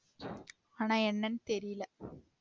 ஆனா என்னன்னு தெரியல